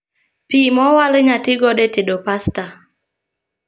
Pii mowalo inyalo tii godo e tedo pasta